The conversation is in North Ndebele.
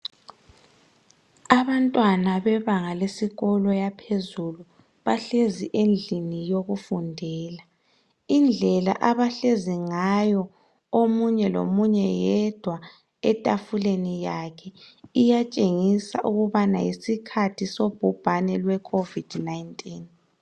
abantwana besikolo yebanga laphezulu bahlezi endlini yokufundela indlela abahleziyo ngayo omunye lomunye yedwa etafuleni yakhe iyatshengisa ukuthi yisikhathi sobhubhqne lwekhovidi 19